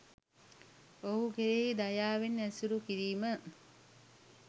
ඔහු කෙරෙහි දයාවෙන් ඇසුරු කිරීම